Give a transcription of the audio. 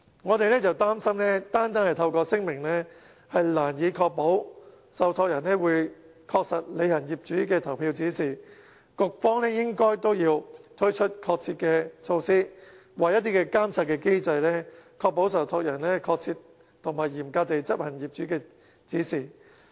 我們擔心單單透過聲明難以確保受託人會確實履行業主的投票指示，局方也要推出確切的措施或監察機制，確保受託人確切和嚴格執行業主的指示。